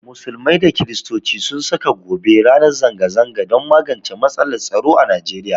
Musulmai da Kirstoci sun saka gobe ranar zanga zanga don magance matsalar tsaro a nigeria